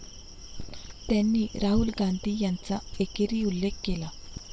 त्यांनी राहुल गांधी यांचा एकेरी उल्लेख केला.